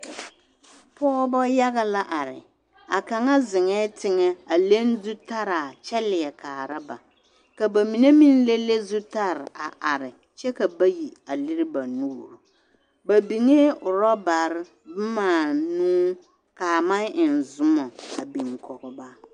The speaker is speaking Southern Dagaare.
Pɔgɔbɔ yaga la are, a kaŋa zeŋɛɛ teŋɛ a leŋ zutaraa kyɛ leɛ kaara ba, ka bamine meŋ le le zutare a are kyɛ ka bayi a lere ba nuuri, ba biŋee orɔbare bomaa nuu k'a maŋ eŋ zomɔ a biŋ kɔge ba.